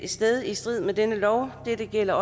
sted i strid med denne lov dette gælder